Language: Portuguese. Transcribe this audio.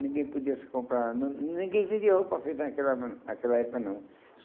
Ninguém podia se comprar... Nã ninguém vendia roupa feita naquela época, naquela época não.